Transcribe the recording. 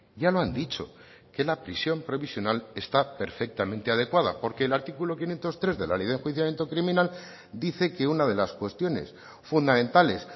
ya lo han dicho que la prisión provisional está perfectamente adecuada porque el artículo quinientos tres de la ley de enjuiciamiento criminal dice que una de las cuestiones fundamentales